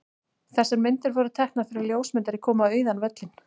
Þessar myndir voru teknar þegar ljósmyndari kom á auðan völlinn.